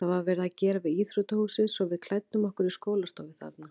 Það var verið að gera við íþróttahúsið svo við klæddum okkur í skólastofu þarna.